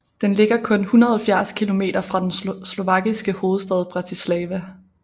Den ligger kun 170 kilometer fra den slovakiske hovedstad Bratislava